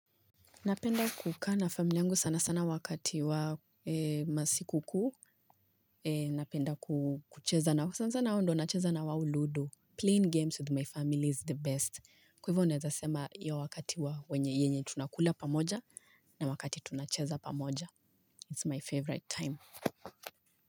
Napenda kukaa na family yangu sana sana wakati wa masiku kuu. Napenda kucheza nao sana sana ndio huwa nacheza na wao ludo. Playing games with my family is the best. Kwa hivyo naeza sema hiyo wakati wa wenye yenye tunakula pamoja na wakati tunacheza pamoja. It's my favorite time.